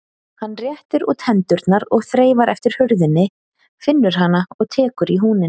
Hann réttir út hendurnar og þreifar eftir hurðinni, finnur hana og tekur í húninn.